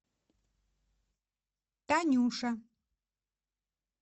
танюша